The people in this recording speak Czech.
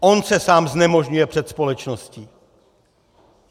On se sám znemožňuje před společností.